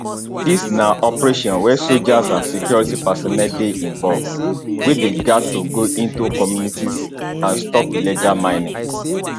dis na operation wia soldiers and security personnel dey involve wey dey gat to go into communities and stop illegal mining